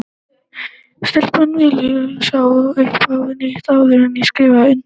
Stelpan vélritar þá svo upp á nýtt, áður en ég skrifa undir.